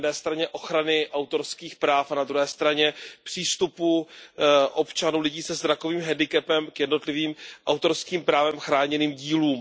Na jedné straně ochrany autorských práv a na druhé straně přístupu občanů se zrakovým handicapem k jednotlivým autorským právem chráněným dílům.